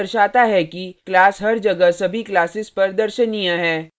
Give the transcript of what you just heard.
यह दर्शाता है कि class हर जगह सभी classes पर दर्शनीय है